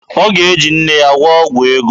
Ọ ga-eji nne ya gwụọ ọgwụ ego.